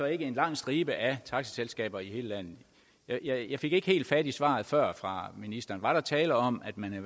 er en lang stribe af taxaselskaber i hele landet jeg jeg fik ikke helt fat i svaret før fra ministeren var der tale om at man